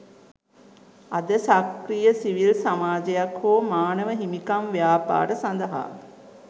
අද සක්‍රීය සිවිල් සමාජයක් හෝ මානව හිමිකම් ව්‍යාපාර සඳහා